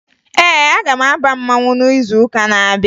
Ee, aga m aba mmanwụ n'izuụka na-abịa